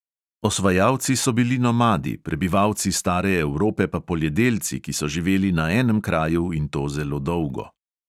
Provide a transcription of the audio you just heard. Osvajalci so bili nomadi, prebivalci stare evrope pa poljedelci, ki so živeli na enem kraju, in to zelo dolgo.